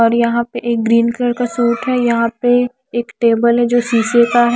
और यहां पे एक ग्रीन कलर का सूट है। यहां पे एक टेबल है जो शीशे का है।